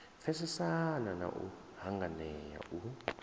pfesesana na u hanganea u